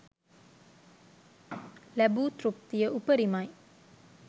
ලැබූ තෘප්තිය උපරිමයි